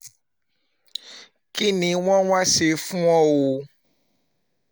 kín ni wọ́n wáá ṣe fún un o